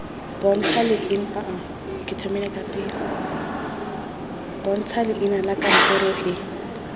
bontsha leina la kantoro e